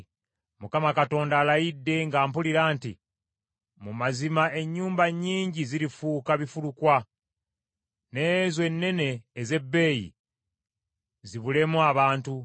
Mukama Katonda alayidde nga mpulira nti, “Mu mazima ennyumba nnyingi zirifuuka bifulukkwa, n’ezo ennene ez’ebbeeyi zibulemu abantu.